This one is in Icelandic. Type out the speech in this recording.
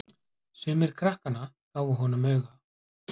Sumir krakkanna gefa honum auga.